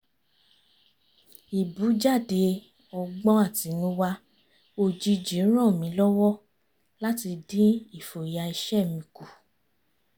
ìbújáde ọgbọ́n àtinúwá òjijì ràn mí lọ́wọ́ láti dín ìfòyà iṣẹ́ mi kù